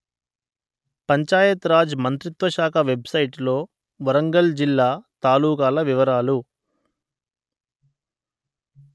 పంచాయత్ రాజ్ మంత్రిత్వ శాఖ వెబ్‌సైటులో వరంగల్ జిల్లా తాలూకాల వివరాలు